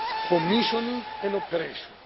commissioning and operation.